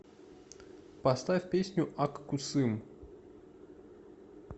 поставь песню ак кусым